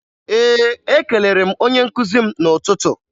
Ee, ekelere m onye nkụzi m n'ụtụtụ